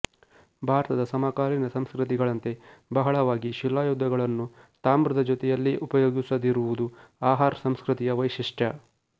ಭಾರತದ ಸಮಕಾಲೀನ ಸಂಸ್ಕೃತಿಗಳಂತೆ ಬಹಳವಾಗಿ ಶಿಲಾಯುಧಗಳನ್ನು ತಾಮ್ರದ ಜೊತೆಯಲ್ಲೇ ಉಪಯೋಗಿಸದಿರುವುದು ಅಹಾರ್ ಸಂಸ್ಕೃತಿಯ ವೈಶಿಷ್ಟ್ಯ